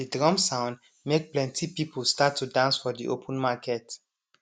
de drum sound make plenti people start to dance for de open market